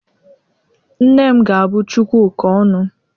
Nne m ga-abu Chukwuka ọnụ.